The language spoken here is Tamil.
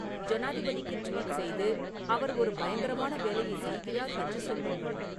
ஜனாதிபதிக்கு ட்வீட் செய்து, அவர் ஒரு பயங்கரமான வேலையைச் செய்கிறார் என்று சொல்லுங்கள்